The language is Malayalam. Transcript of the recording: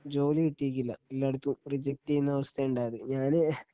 ജോലി കിട്ടിക്കില്ല എല്ലായിടത്തും റിജെക്ട് ചെയ്യുന്ന അവസ്ഥയാ ഉണ്ടായതു. ഞാന്